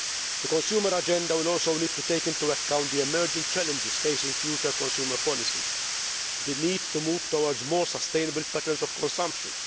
The Consumer Agenda will also need to take into account the emerging challenges facing future consumer policy the need to move towards more sustainable patterns of consumption